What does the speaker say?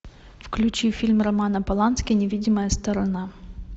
включи фильм романа полански невидимая сторона